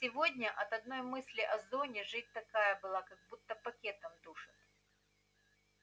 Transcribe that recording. сегодня от одной мысли о зоне жить такая была как будто пакетом душат